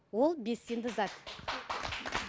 ол белсенді зат